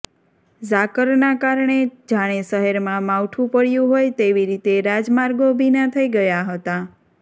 ઝાકરના કારણે જાણે શહેરમાં માવઠુ પડયું હોય તેવી રીતે રાજમાર્ગો ભીના થઈ ગયા હતા